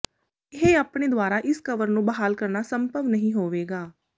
ਇਹ ਆਪਣੇ ਦੁਆਰਾ ਇਸ ਕਵਰ ਨੂੰ ਬਹਾਲ ਕਰਨਾ ਸੰਭਵ ਨਹੀਂ ਹੋਵੇਗਾ